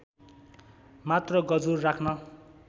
मात्र गजुर राख्न